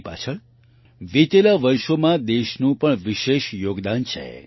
તેની પાછળ વિતેલા વર્ષોમાં દેશનું પણ વિશેષ યોગદાન છે